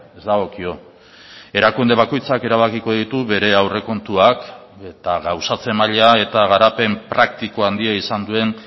ez dagokio erakunde bakoitzak erabakiko ditu bere aurrekontuak eta gauzatze maila eta garapen praktiko handia izan duen